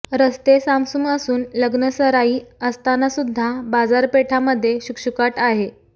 रस्ते सामसूम असून लग्न सराई असतानासुद्धा बाजारपेठामध्ये शुकशुकाट आहे